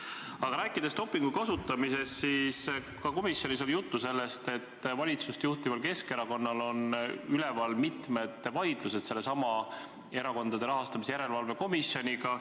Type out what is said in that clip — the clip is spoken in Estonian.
Aga kui rääkida dopingu kasutamisest, siis ka komisjonis oli juttu sellest, et valitsust juhtival Keskerakonnal on üleval mitu vaidlust sellesama Erakondade Rahastamise Järelevalve Komisjoniga.